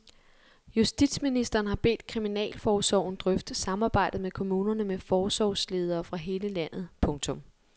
Justitsministeren har bedt kriminalforsorgen drøfte samarbejdet med kommunerne med forsorgsledere fra hele landet. punktum